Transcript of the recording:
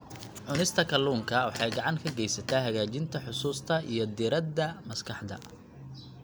Cunista kalluunka waxay gacan ka geysataa hagaajinta xusuusta iyo diiradda maskaxda.